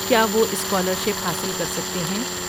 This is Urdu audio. کیا وہ اسکالرشپ حاصل کر سکتے ہیں؟